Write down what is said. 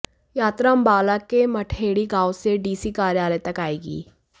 यात्रा अंबाला के मटहेड़ी गांव से डीसी कार्यालय तक आएगी